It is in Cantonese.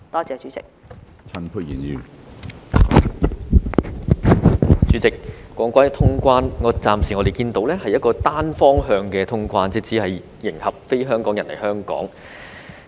主席，談到通關，我們暫時看到的是一個單向通關，只是迎合非香港人來港的需求。